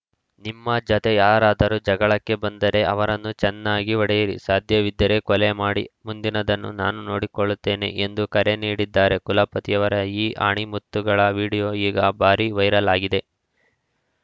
ನಿಮ್ಮ ಜತೆ ಯಾರಾದರೂ ಜಗಳಕ್ಕೆ ಬಂದರೆ ಅವರನ್ನು ಚೆನ್ನಾಗಿ ಹೊಡೆಯಿರಿ ಸಾಧ್ಯವಿದ್ದರೆ ಕೊಲೆ ಮಾಡಿ ಮುಂದಿನದನ್ನು ನಾನು ನೋಡಿಕೊಳ್ಳುತ್ತೇನೆ ಎಂದು ಕರೆ ನೀಡಿದ್ದಾರೆ ಕುಲಪತಿಯವರ ಈ ಆಣಿಮುತ್ತುಗಳ ವಿಡಿಯೋ ಈಗ ಭಾರೀ ವೈರಲ್‌ ಆಗಿದೆ